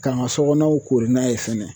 K'an ka sokɔnɔw kori n'a ye fɛnɛ.